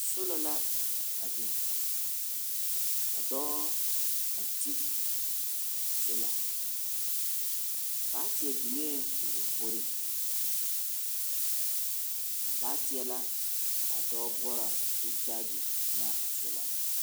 Sola la a biŋ ka dɔɔ a ti a sola. Baateɛ biŋee o lamboriŋ. A baateɛ la ka a dɔɔ boɔra ka ao kyaage ane a sola.